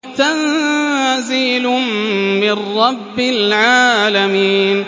تَنزِيلٌ مِّن رَّبِّ الْعَالَمِينَ